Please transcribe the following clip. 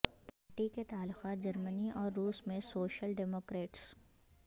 party کے تعلقات جرمنی اور روس میں سوشل ڈیموکریٹس